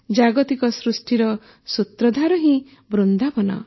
ଜାଗତିକ ସୃଷ୍ଟିର ସୂତ୍ରଧାର ହିଁ ବୃନ୍ଦାବନ